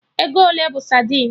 Ego ole bụ sadin?